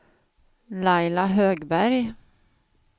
Laila Högberg